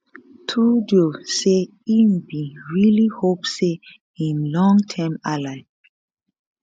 trudeau say e bin really hope say im long term ally